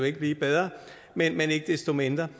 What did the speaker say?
ikke blive bedre men ikke desto mindre